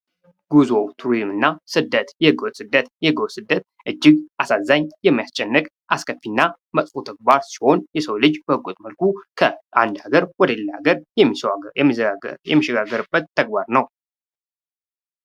ጉዞ ፣ ቱሪዝምና ስደት፦ የህገወጥ ስደት ፦ የህገወጥ ስደት እጅግ አሳዛኝ ፣ የሚያስጨንቅ ፣ አስከፊና መጥፎ ተግባር ሲሆን የሰው ልጅ በህገወጥ መልኩ ከአንድ ሀገር ወደ ሌላ ሀገር የሚሸጋገርበት ተግባር ነው ።